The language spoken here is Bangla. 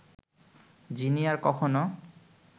যিনি আর কখনো